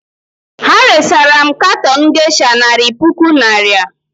Ha resara m katon gesha nari puku naịra.